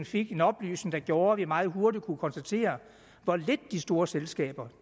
fik en oplysning der gjorde at vi meget hurtigt kunne konstatere hvor lidt de store selskaber